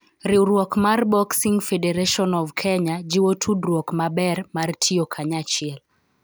Riwruok mar Boxing Federation of Kenya jiwo tudruok maber mar tiyo kanyachiel